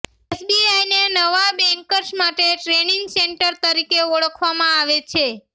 એસબીઆઇને નવા બેન્કર્સ માટે training centre તરીકે ઓળખવામાં આવે છે